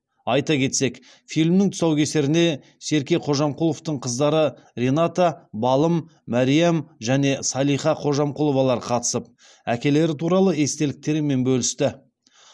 айта кетсек фильмнің тұсаукесеріне серке қожамқұловтың қыздары рената балым мәриам және салиха қожамқұловалар қатысып әкелері туралы естеліктерімен бөлісті